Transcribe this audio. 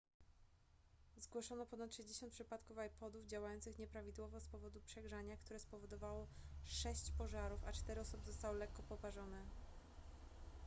zgłoszono ponad 60 przypadków ipodów działających nieprawidłowo z powodu przegrzania które spowodowało sześć pożarów a cztery osoby zostały lekko poparzone